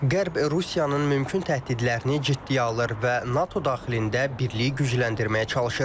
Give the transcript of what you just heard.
Qərb Rusiyanın mümkün təhdidlərini ciddiyə alır və NATO daxilində birliyi gücləndirməyə çalışır.